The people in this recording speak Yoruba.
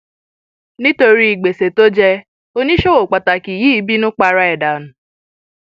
nítorí gbèsè tó jẹ oníṣòwò pàtàkì yìí bínú para ẹ dànù